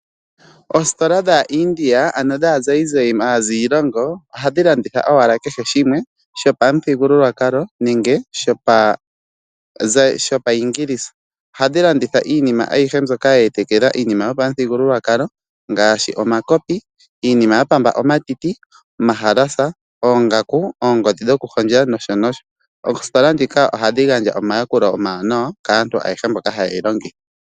Oositola dhaazayizayi, oha dhi landitha owala kehe shimwe, shopamu thongululwakalo nenge shopaingilisa. Oha dhi landitha iinima aihe mbyoka ye elekela iinima yopa mu thigululwakalo gaashi omakopi, iinima ya pamba omatiti, omahalasa, oongaku no sho tuu..oositola ndika oha dhi handja omayakulo omawanawa kaantu ayehe mboka ha ye yi longitha.